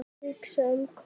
Hugsa um hvað?